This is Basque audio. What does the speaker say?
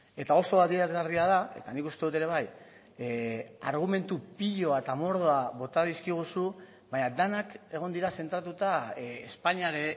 eta oso adierazgarria da eta nik uste dut ere bai argumentu piloa eta mordoa bota dizkiguzu baina denak egon dira zentratuta espainiar